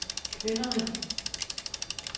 kvinderne